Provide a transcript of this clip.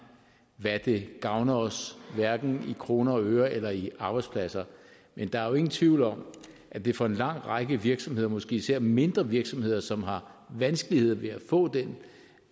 hvad det gavner os hverken i kroner og øre eller i arbejdspladser men der er jo ingen tvivl om at det for en lang række virksomheder måske især mindre virksomheder som har vanskeligheder ved at få den